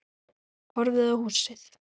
Horfði á húsið.